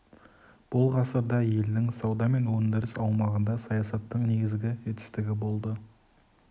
бұл ғасырда елдің сауда мен өндіріс аумағында саясаттың негізгі жетістігі болды